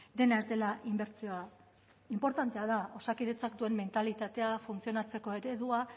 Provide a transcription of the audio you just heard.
dena ez dela inbertsioa inportantea da osakidetzak zuen mentalitatea funtzionatzeko eredua